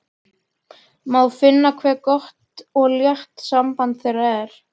Má finna hve gott og létt samband þeirra er.